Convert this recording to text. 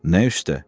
Nə üstə?